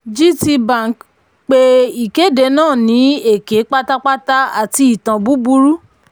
gtbank pé ìkéde náà ní èké pátápátá àti ìtàn búburú.